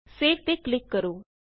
save ਤੇ click ਕਰੋ